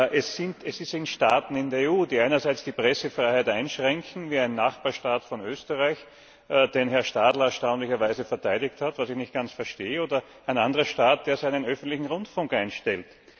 Es sind Staaten der EU, die einerseits die Pressefreiheit einschränken, wie ein Nachbarstaat von Österreich, den Herr Stadler erstaunlicherweise verteidigt hat, was ich nicht ganz verstehe, oder ein anderer Staat, der seinen öffentlichen Rundfunk einstellt.